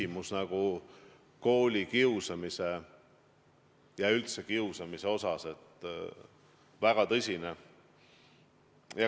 Ma arvan, et koolikiusamise ja üldse kiusamise probleem on väga tõsine.